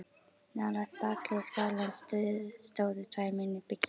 Nálægt bakhlið skálans stóðu tvær minni byggingar.